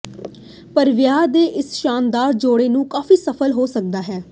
ਪਰ ਵਿਆਹ ਦੇ ਇਸ ਸ਼ਾਨਦਾਰ ਜੋੜੇ ਨੂੰ ਕਾਫ਼ੀ ਸਫ਼ਲ ਹੋ ਸਕਦਾ ਹੈ